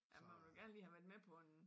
Ja man ville gerne lige have været med på en